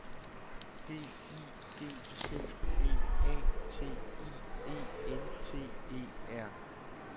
G I G T P A T I E N T E R